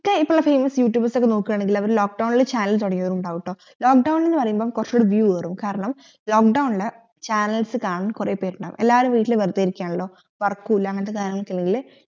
മിക്ക famous youtubers ഒക്കെ നോക്കണേൽ അവർ lock down ഇൽ channel തുടങ്ങിയവർ ഇണ്ടാവുംട്ടോ lock down എന്ന് പറയുമ്പോ കൊറച്ചൂടെ view കേറും കാരണം lock down ഇൽ channels കാണാൻ കൊറേ പേരുണ്ടാകും എല്ലാരും വീട്ടിൽ വെറുതെ ഇരിക്കണല്ലോ work ഇല്ല അങ്ങനത്തെ കീഴിൽ